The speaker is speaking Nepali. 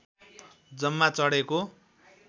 जम्मा चढेको